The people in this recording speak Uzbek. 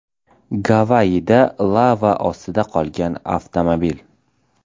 Gavayida lava ostida qolgan avtomobil.